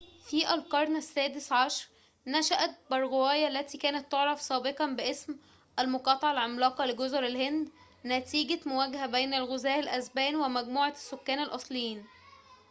في القرن السادس عشر نشأت باراغواي التي كانت تُعرف سابقًا باسم المقاطعة العملاقة لجزر الهند نتيجة مواجهة بين الغزاة الإسبان ومجموعات السكان الأصليين